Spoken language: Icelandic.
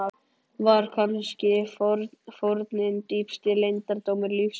Var kannski fórnin dýpsti leyndardómur lífsins?